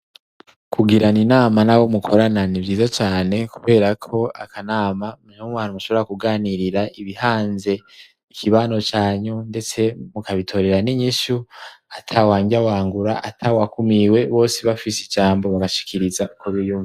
Kugirana inama n'abo mukorana nivyiza cane kuberako akanama niwo mwanya mushobora kuganirira ibihanze ikibano canyu ndetse mukabitorera n'inyishu atawanryawangura atawakumiwe, bose bafise ijambo bagashikiriza uko biyumva.